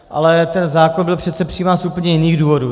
Ale ten zákon byl přece přijímán z úplně jiných důvodů.